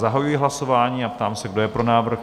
Zahajuji hlasování a ptám se, kdo je pro návrh?